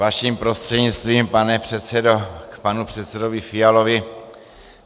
Vaším prostřednictvím, pane předsedo, k panu předsedovi Fialovi.